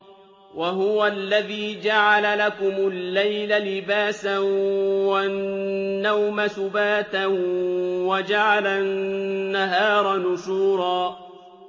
وَهُوَ الَّذِي جَعَلَ لَكُمُ اللَّيْلَ لِبَاسًا وَالنَّوْمَ سُبَاتًا وَجَعَلَ النَّهَارَ نُشُورًا